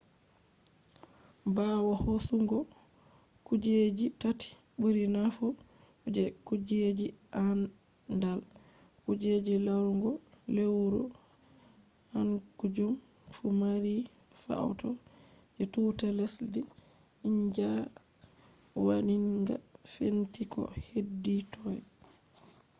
ɓawo hoosugo kujeji tati ɓuri naafu je kujeji aandal kuje larugo lewru kaanjum fu maari faoto je tuuta lesdi india waɗinga fenti ko heedi toy